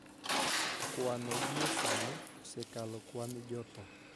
Kwanno gie sani osekalo kwan jotho